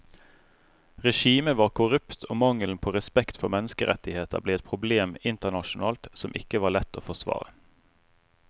Regimet var korrupt og mangelen på respekt for menneskerettigheter ble et problem internasjonalt som ikke var lett å forsvare.